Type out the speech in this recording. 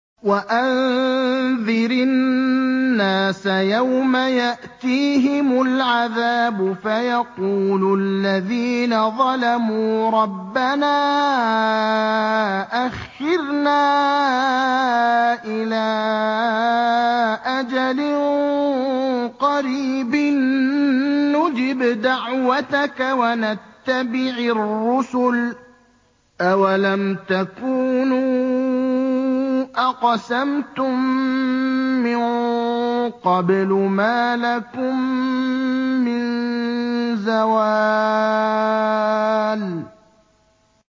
وَأَنذِرِ النَّاسَ يَوْمَ يَأْتِيهِمُ الْعَذَابُ فَيَقُولُ الَّذِينَ ظَلَمُوا رَبَّنَا أَخِّرْنَا إِلَىٰ أَجَلٍ قَرِيبٍ نُّجِبْ دَعْوَتَكَ وَنَتَّبِعِ الرُّسُلَ ۗ أَوَلَمْ تَكُونُوا أَقْسَمْتُم مِّن قَبْلُ مَا لَكُم مِّن زَوَالٍ